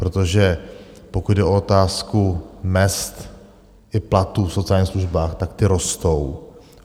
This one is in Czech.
Protože pokud jde o otázku mezd i platů v sociálních službách, tak ty rostou.